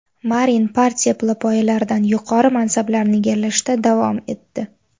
Marin partiya pillapoyalaridan yuqori mansablarni egallashda davom etdi.